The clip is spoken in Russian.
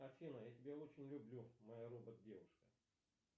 афина я тебя очень люблю моя робот девушка